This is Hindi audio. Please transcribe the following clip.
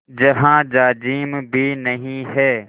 जहाँ जाजिम भी नहीं है